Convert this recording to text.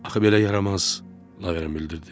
Axı belə yaramaz, Lavrent bildirdi.